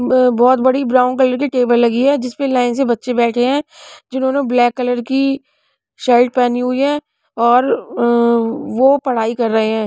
ब बहोत बड़ी ब्राउन कलर की टेबल लगी है जिस पे लाइन से बच्चे बैठे हैं जिन्होंने ब्लैक कलर की शर्ट पहनी हुई है और वो पढ़ाई कर रहे हैं।